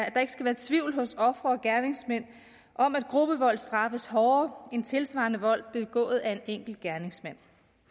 at der ikke skal være tvivl hos ofre og gerningsmænd om at gruppevold straffes hårdere end tilsvarende vold begået af en enkelt gerningsmand